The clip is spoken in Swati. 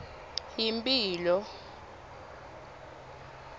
yimphilo